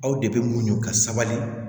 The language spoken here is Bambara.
Aw de bɛ muɲu ka sabali